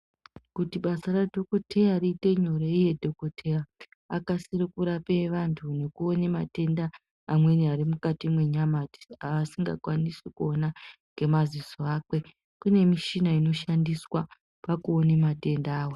Kuti basa reudhokodheya riite nyore uye dhokodheya akasire kurapa antu nekuona matenda amweni mukati menyama pasingakwanisi kuona ngemaziso akwe kune mishina inoshandiswa pakuona matenda awa.